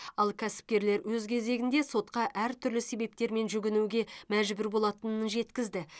ал кәсіпкерлер өз кезегінде сотқа әртүрлі себептермен жүгінуге мәжбүр болатынын жеткізді